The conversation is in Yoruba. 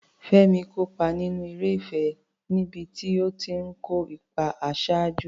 Fẹ́mi kópa nínú eré ìfẹ́ níbi tó ti ń kó ipa àṣáájú.